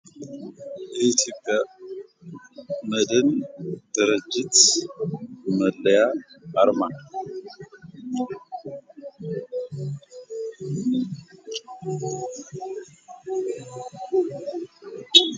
የኢትዮጵያ መድን ድርጅት መለያ አርማ